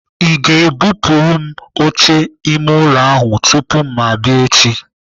Ị ga-ebupuru m oche ime ụlọ ahụ tupu ma abịa echi?